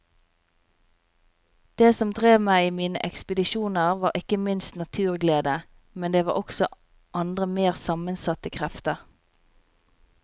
Det som drev meg i mine ekspedisjoner var ikke minst naturglede, men det var også andre mer sammensatte krefter.